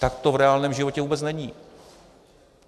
Tak to v reálném životě vůbec není.